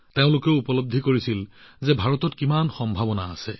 তেওঁলোকে এইটোও উপলব্ধি কৰিছিল যে ভাৰতত ইমানবোৰ সম্ভাৱনা আছে